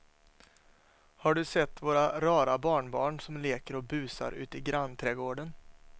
Har du sett våra rara barnbarn som leker och busar ute i grannträdgården!